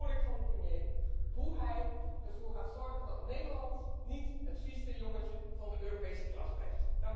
Graag hoor ik van de premier hoe hij ervoor gaat zorgen dat Nederland niet het vieste jongetje van de Europese klas blijft.